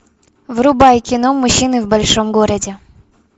врубай кино мужчины в большом городе